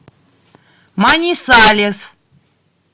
манисалес